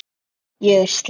Ég er slæg.